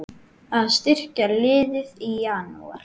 Að styrkja liðið í Janúar?